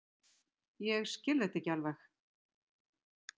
Ég skil þetta ekki alveg.